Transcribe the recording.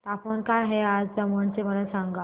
तापमान काय आहे आज दमण चे मला सांगा